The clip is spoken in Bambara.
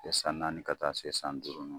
San naani ka taa se san duuru ma